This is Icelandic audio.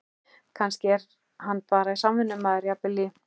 Kannski er hann bara samvinnumaður, jafnvel í